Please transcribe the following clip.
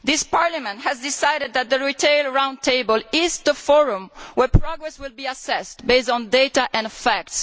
Parliament has decided that the retail round table is the forum where progress will be assessed, based on data and facts.